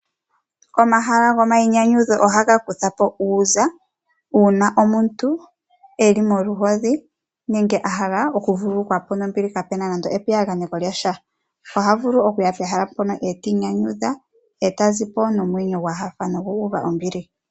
Omahala gomainyanyudho ohaga kutha po uuza, uuna omuntu e li moluhodhi nenge a hala oku vululukwa po nombili kapu na nando epiyaganeko lyasha. Oha vulu okuya pehala pono e tii nyanyudha, eta zipo momwenyo gwahafa nogu uva ombili.